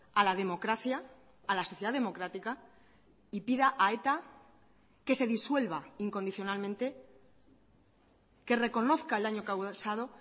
a la democracia a la sociedad democrática y pida a eta que se disuelva incondicionalmente que reconozca el daño causado